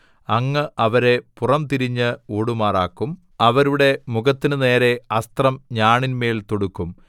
അങ്ങ് അവരെ പുറംതിരിഞ്ഞ് ഓടുമാറാക്കും അവരുടെ മുഖത്തിനുനേരെ അസ്ത്രം ഞാണിന്മേൽ തൊടുക്കും